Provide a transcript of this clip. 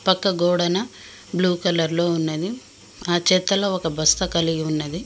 పక్క గోడన బ్లూ కలర్లో ఉన్నది ఆ చెత్తలో ఒక బస్త కలిగి ఉన్నది.